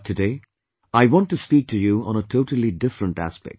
But today I want to speak to you on a totally different aspect